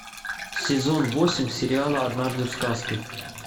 сезон восемь сериала однажды в сказке